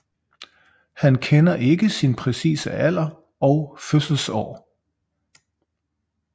Han kender ikke sin præcise alder og fødselsår